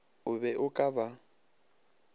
o be o ka ba